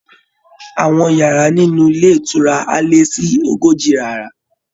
Àwọn yàrá nínú ilé ìtura á lé sí ogójì yàrá